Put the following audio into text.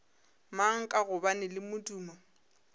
mang ka gobane le modumo